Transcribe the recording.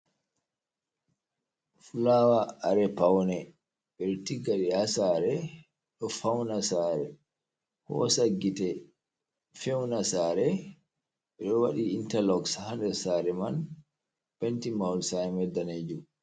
Fulawa kare paune, ɓe ɗo tigga ɗum ha sare, ɗo fauna sare, hosa gite, fewna sare, be waɗi intaluk ha nder sare man, pinti muhol sare man danejum.